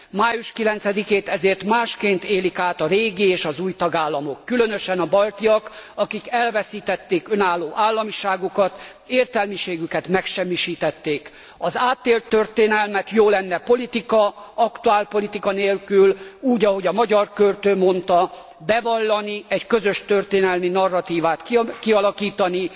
Május 9 ét ezért másként élik át a régi és az új tagállamok, különösen a baltiak, akik elveszítették önálló államiságukat, értelmiségüket megsemmisítették. Az átélt történelmet jó lenne politika, aktuálpolitika nélkül, úgy, ahogy a magyar költő mondta bevallani, egy közös történelmi narratívát kialakítani.